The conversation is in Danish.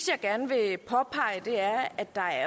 jeg gerne vil påpege er at der